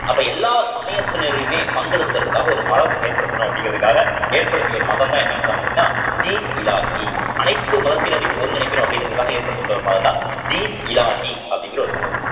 அப்ப எல்லா சமயத்தினரையுமே பங்கெடுத்துக்கிறதுக்காக ஒரு மதம் ஏற்படுத்தணும் அப்படிங்கிறதுக்காக ஏற்படுத்திய ஒரு மதம்தான் என்ன மதம் அப்படின்னா டின்-இ இலாஹி அனைத்து மதத்தினரையும் ஒருங்கிணைக்கணும் அப்படிங்கிறதுக்காக ஏற்படுத்தப்பட்ட ஒரு மதம்தான் டின்-இ இலாஹிஅப்படிங்கிற ஒரு மதம்